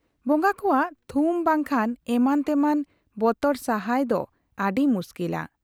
ᱵᱚᱝᱜᱟ ᱠᱚᱣᱟᱜ ᱛᱷᱩᱢ ᱵᱟᱝᱠᱷᱟᱱ ᱮᱢᱟᱱ ᱛᱮᱢᱟᱱ ᱵᱚᱛᱚᱨ ᱥᱟᱦᱟᱭ ᱫᱚ ᱟᱹᱰᱤ ᱢᱩᱥᱠᱤᱞᱟ ᱾